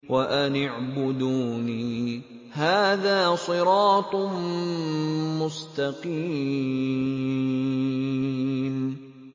وَأَنِ اعْبُدُونِي ۚ هَٰذَا صِرَاطٌ مُّسْتَقِيمٌ